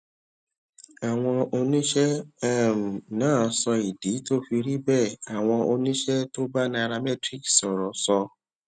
àwọn oníṣẹ um náà sọ ìdí tó fi rí bẹẹ àwọn oníṣẹ tó bá nairametrics sòrò sọ